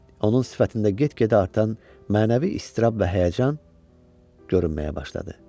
Onun sifətində get-gedə artan mənəvi iztirab və həyəcan görünməyə başladı.